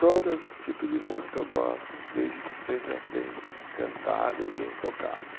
Todo esse tipo de música eu gosto, desde que seja bem cantada e bem tocada.